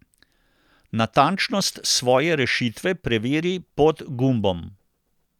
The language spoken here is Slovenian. Natančnost svoje rešitve preveri pod gumbom.